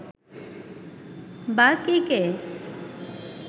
বা কে কে